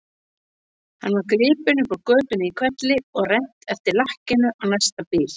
Hann var gripinn upp úr götunni í hvelli og rennt eftir lakkinu á næsta bíl.